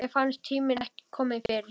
Mér fannst tíminn ekki kominn fyrr.